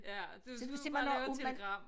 Ja du du må lave et telegram